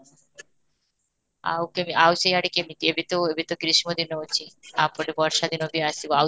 ଆଉ କେବେ ଆଉ ସିଆଡେ କେମିତି ଏବେ ତ ଏବେ ତ ଗ୍ରୀଷ୍ମ ଦିନ ଅଛି, ୟା ପରେ ବର୍ଷା ଦିନ ବି ଆସିବ ଆଉ